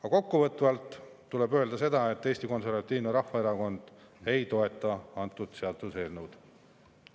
Aga kokkuvõtvalt tuleb öelda, et Eesti Konservatiivne Rahvaerakond ei toeta antud seaduseelnõu.